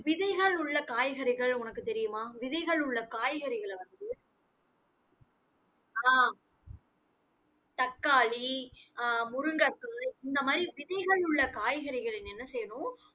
விதைகள் உள்ள காய்கறிகள் உனக்கு தெரியுமா, விதைகள் உள்ள காய்கறிகளை வந்து ஆஹ் தக்காளி அஹ் முருங்கைக்காய், இந்த மாதிரி விதைகள் உள்ள காய்கறிகளை நீங்க என்ன செய்யணும்?